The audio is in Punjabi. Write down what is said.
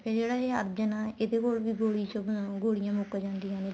ਫ਼ੇਰ ਜਿਹੜਾ ਏ ਅਰਜਨ ਏ ਇਹਦੇ ਕੋਲ ਵੀ ਗੋਲੀਆਂ ਮੁੱਕ ਜਾਂਦੀਆਂ ਨੇ